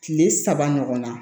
Kile saba ɲɔgɔn na